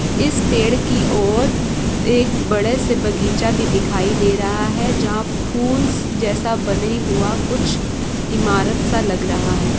इस पेड़ की और द एक बड़े सा बगीचा भी दिखाई दे रहा है जहा फूल स जैसा बने हुवा कुछ इमारत सा लग रहा है ।